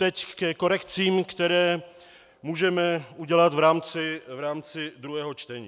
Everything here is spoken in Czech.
Teď ke korekcím, které můžeme udělat v rámci druhého čtení.